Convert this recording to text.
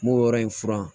N b'o yɔrɔ in furan